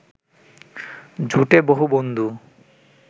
জোটে বহু বন্ধু